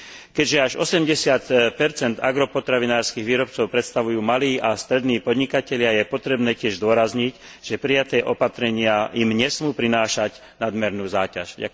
Keďže až 80 agropotravinárskych výrobcov predstavujú malí a strední podnikatelia, je potrebné tiež zdôrazniť, že prijaté opatrenia im nesmú prinášať nadmerné zaťaženie.